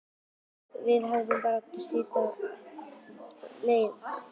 Við vorum bara að stytta okkur leið sagði amma mæðulega.